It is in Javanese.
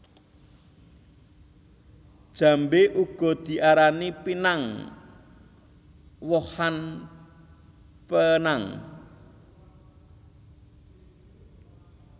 Jambé uga diarani pinang wohan penang